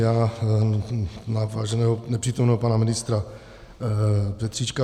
Já na váženého nepřítomného pana ministra Petříčka.